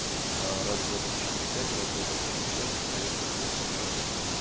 а раз-два-три-четыре-пять раз-два-три-четыре-пять проверка проверка проверка